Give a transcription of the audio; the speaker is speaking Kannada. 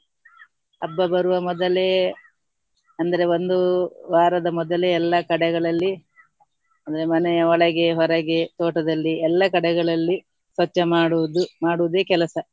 ಹಬ್ಬ ಬರುವ ಮೊದಲೇ ಅಂದರೆ ಒಂದು ವಾರದ ಮೊದಲೇ ಎಲ್ಲಾ ಕಡೆಗಳಲ್ಲಿ ಅಂದ್ರೆ ಮನೆಯ ಒಳಗೆ ಹೊರಗೆ ತೋಟದಲ್ಲಿ ಎಲ್ಲಾ ಕಡೆಗಳಲ್ಲಿ ಸ್ವಚ್ಛ ಮಾಡುವುದು ಮಾಡುವುದೇ ಕೆಲಸ.